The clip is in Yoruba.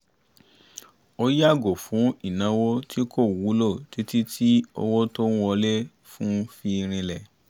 ó yààgò fún ìnáwó tí kò wúlò títí tí owó tó ń wọlé fún-un fi rinlẹ̀